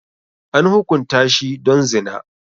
An hukunta shi don zina.